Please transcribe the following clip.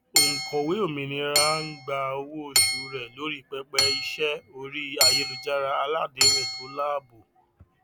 òǹkọwé òmìnira ń gba owóoṣù rẹ lórí pẹpẹ iṣẹ orí ayélujára aládéhùn tó láàbò